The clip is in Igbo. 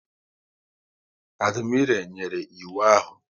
Admiré nyere iwu ahụ